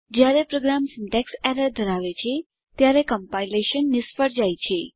જયારે program syntax errors ધરાવે છે ત્યારે કોમ્પાઇલેશન નિષ્ફળ જાય છે